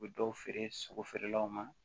U bɛ dɔw feere sogo feerelaw ma